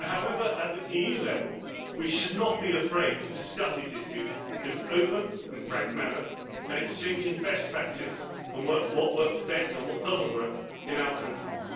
However, at EU level we should not be afraid to discuss these issues in an open and frank manner, exchanging best practice and seeing what works best and what does not work in our countries.